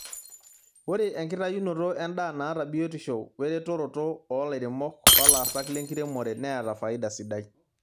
Ore enkitayunoto endaa naata biotisho weretoroto oo lairemok, olasak lenkiremore neata faida sidai.